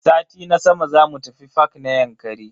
Sati na sama zamu tafi fak na Yankari.